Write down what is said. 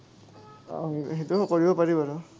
অ, সেইটোও কৰিব পাৰি বাৰু।